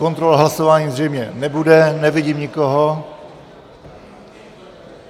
Kontrola hlasování zřejmě nebude, nevidím nikoho.